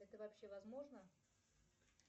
это вообще возможно